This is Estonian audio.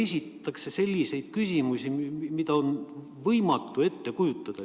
Esitatakse selliseid küsimusi, mida on lihtsalt võimatu ette kujutada.